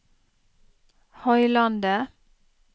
Høylandet